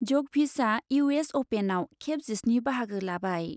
जकभिचआ इउ एस अपेनआव खेब जिस्नि बाहागो लाबाय।